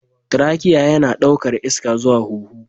Trachea yana ɗaukar iska zuwa hunhu